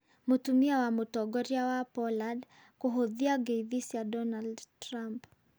Mũtumia wa Mũtongoria wa Poland kũhũthia ngeithi cĩa Donald Trump.